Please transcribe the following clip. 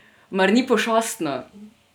Mar ni pošastno?